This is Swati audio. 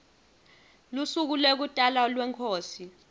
lusuku lekutalwa kwenkhosi